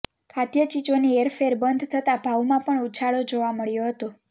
ખાધ્ય ચીજોની હેરફેર બંધ થતા ભાવમાં પણ ઉછાળો જોવા મળ્યો હતો